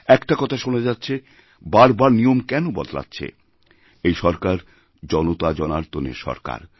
একটা কথা শোনা যাচ্ছে বারবার নিয়ম কেন বদলাচ্ছে এই সরকার জনতাজনার্দনেরসরকার